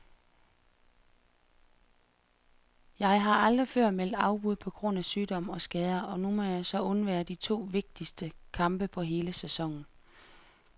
Jeg har aldrig før meldt afbud på grund af sygdom og skader, og nu må jeg så undvære de to vigtigste kampe på hele sæsonen.